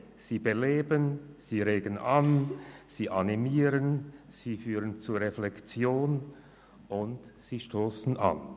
Sie beleben, regen an, animieren, führen zur Reflexion, und sie stossen an.